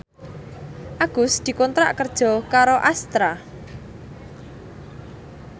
Agus dikontrak kerja karo Astra